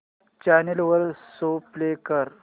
channel वर show play कर